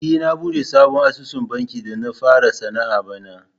E, na buɗe sabon asusun banki da na fara sana'a bana.